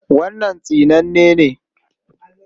Wannan tsinanne ne.